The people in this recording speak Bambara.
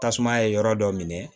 Tasuma ye yɔrɔ dɔ minɛ